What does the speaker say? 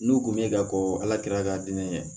N'u kun bɛ ka ko ala kira k'a di ne ma